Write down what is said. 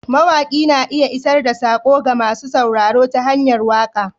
Mawaƙi na iya isar da saƙo ga masu sauraro ta hanyar waka.